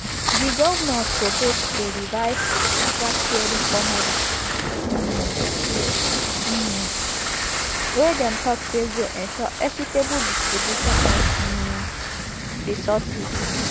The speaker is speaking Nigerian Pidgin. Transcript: di govnors propose a revised vatsharing formula um um wey dem tok say go ensure equitable distribution of um resources